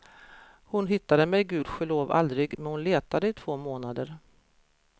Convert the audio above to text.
Hon hittade mig gudskelov aldrig men hon letade i två månader.